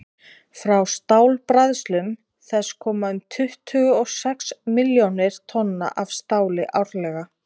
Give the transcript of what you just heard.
frá stálbræðslum þess koma um tuttugu og sex milljónir tonna af stáli árlega